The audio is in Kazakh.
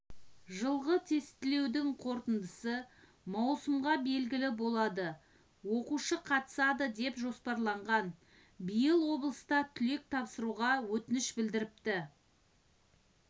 жылғы тестілеудің қорытындысы маусымда белгілі болады оқушы қатысады деп жоспарланған биыл облыста түлек тапсыруға өтініш білдіріпті